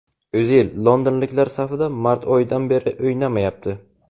O‘zil londonliklar safida mart oyidan beri o‘ynamayapti.